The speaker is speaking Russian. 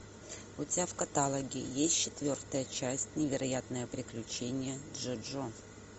у тебя в каталоге есть четвертая часть невероятные приключения джоджо